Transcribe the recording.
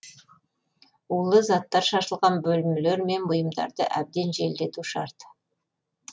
улы заттар шашылған бөлмелер мен бұйымдарды әбден желдету шарт